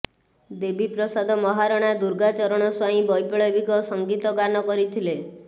ଦେବୀପ୍ରସାଦ ମହାରଣା ଦୁର୍ଗାଚରଣ ସ୍ୱାଇଁ ବୈପ୍ଳବିକ ସଙ୍ଗୀତ ଗାନ କରିଥିଲେ